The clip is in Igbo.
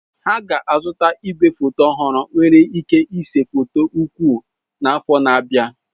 Ha ga-azụta igwefoto ọhụrụ nwere ike ịse foto ukwu n'afọ na-abịa.